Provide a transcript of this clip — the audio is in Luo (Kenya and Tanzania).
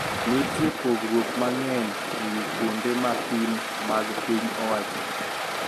Nitie parruok mang`eny e wi kuonde ma pim mag piny owacho